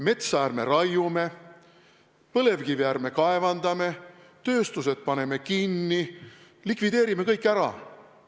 Metsa ärme raiume, põlevkivi ärme kaevandame, tööstused paneme kinni – likvideerime kõik ära.